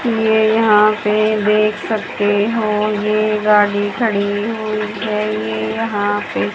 ये यहां पे देख सकते हो ये गाड़ी खड़ी हुई है ये यहां पे।